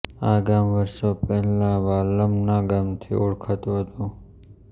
આ ગામ વર્ષો પહેલા વાલમ ના ગામથી ઓળખતું હતું